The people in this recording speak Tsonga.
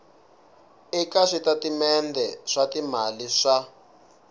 eka switatimende swa timali swa